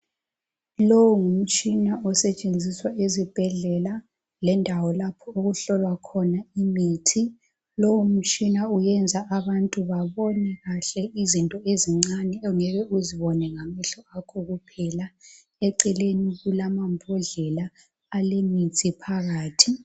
Lowu ngumtshina osetshenziswa ezibhedlela lendawo lapho okuhlolwa khona imithi. Lowu mtshina uyenza abantu babone kahle izinto ezincane ongeke uzibone ngamehlo akho kuphela. Eceleni kulamambodlela alemithi phakathi.